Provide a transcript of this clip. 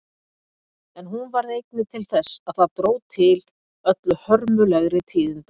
En hún varð einnig til þess að það dró til öllu hörmulegri tíðinda.